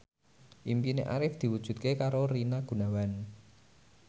impine Arif diwujudke karo Rina Gunawan